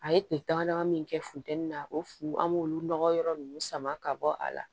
A ye tile dama dama min kɛ futɛni na o fu an b'olu nɔgɔ yɔrɔ nunnu sama ka bɔ a la